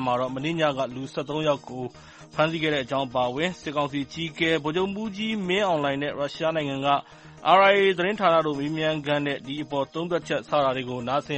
မှာတော့ မနေ့ညက လူ ၁၃ ယောက်ကို ဖမ်းဆီးလိုက်တာ၊ စစ်ကောင်စီအကြီးအကဲ ဗိုလ်ချုပ်မှူးကြီး မင်းအောင်လှိုင် နဲ့ ရုရှားနိုင်ငံက RIA သတင်းဌာနတို့ မေးမြန်ခန်းအပေါ် သုံးသပ်ချက်ကို စတာတွေကို နားဆင်